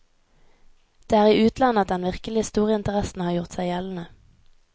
Det er i utlandet at den virkelig store interessen har gjort seg gjeldende.